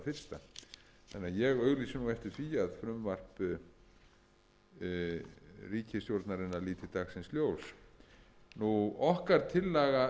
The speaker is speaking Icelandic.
fyrsta þannig að ég auglýsi nú eftir því að frumvarp ríkisstjórnarinnar líti dagsins ljós okkar tillaga